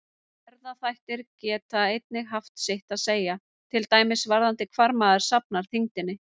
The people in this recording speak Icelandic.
Erfðaþættir geta einnig haft sitt að segja, til dæmis varðandi hvar maður safnar þyngdinni.